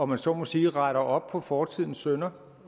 man så må sige retter op på fortidens synder